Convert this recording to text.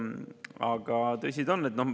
Aga tõsi ta on.